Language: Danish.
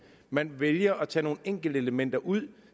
man vælger at tage nogle enkeltelementer ud